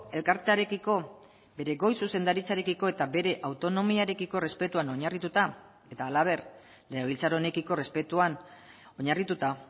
elkartearekiko bere goi zuzendaritzarekiko eta bere autonomiarekiko errespetuan oinarrituta eta halaber legebiltzar honekiko errespetuan oinarrituta